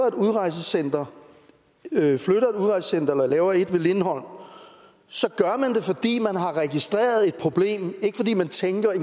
et udrejsecenter eller laver et ved lindholm så gør man det fordi man har registreret et problem ikke fordi man tænker at